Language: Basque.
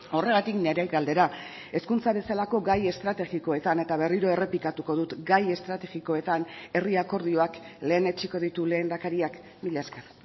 horregatik nire galdera hezkuntza bezalako gai estrategikoetan eta berriro errepikatuko dut gai estrategikoetan herri akordioak lehenetsiko ditu lehendakariak mila esker